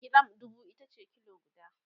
giram dubu itace kilo guda